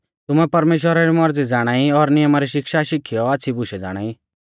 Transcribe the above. तुमै परमेश्‍वरा री मौरज़ी ज़ाणाई और नियमा री शिक्षा शिखीयौ आच़्छ़ी बुशै ज़ाणाई